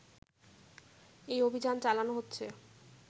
এই অভিযান চালানো হচ্ছে